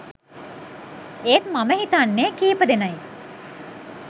එත් මම හිතන්නේ කිපදෙනයි